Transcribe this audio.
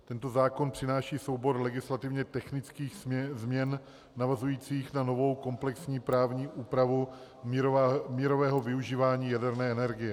Tento zákon přináší soubor legislativně technických změn navazujících na novou komplexní právní úpravu mírového využívání jaderné energie.